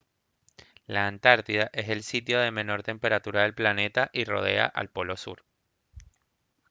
la antártida es el sitio de menor temperatura del planeta y rodea al polo sur